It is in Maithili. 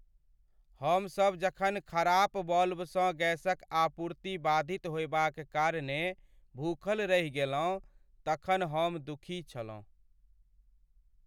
हमसभ जखन खराप वाल्वसँ गैसक आपूर्ति बाधित होयबाक कारणेँ भूखल रहि गेलहुँ तखन हम दुखी छलहुँ।